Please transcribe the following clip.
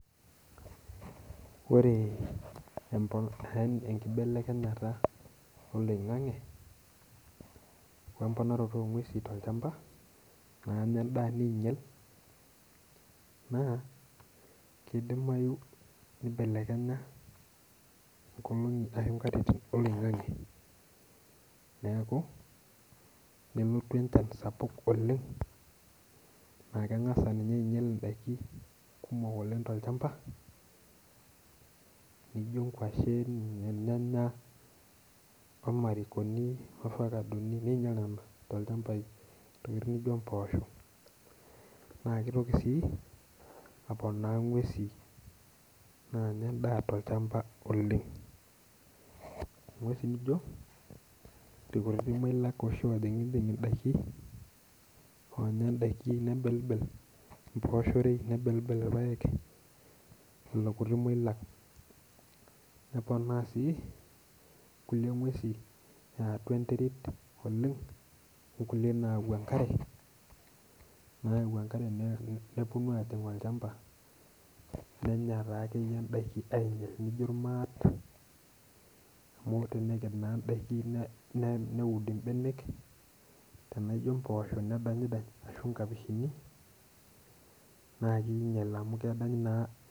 Ore enkibelekenyata eloing'ang'e omponaroto enguesi to ilchamba naa keibelekenya enkolongi ashu nkatitin eloing'ang'e neaku, nelotu enchan sapuk oleng naa kengas ninye ainyal endaki kumok oleng te ilchamba nijo ingoshen, olyanya, olmarinkoni, ovacadoni neinyala te ilchambai metumi duo impoosho naa keitoki sii aponaa inguesi naanya indaa te ilchamba oleng. Inguesi nijo inkurle ashu otingiding'idai oomya indaki nebelbel impoosheri, nebelbel irpaek lelo kuti mui lang, neponaa sii kulie inguesi eatua intim oleng, onkulie naayau enkare, nayau enkare neponu aajing olchamba nenya taake iyie indaki ainyal amu tenenya naa indaki neud imbenek, tanaa ijo impoosho nedanydany ashu inkapishini naa keinyal amu kedanyu naa.